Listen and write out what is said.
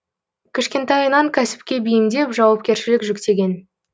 кішкентайынан кәсіпке бейімдеп жауапкершілік жүктеген